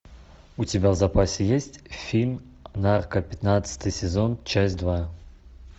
у тебя в запасе есть фильм нарко пятнадцатый сезон часть два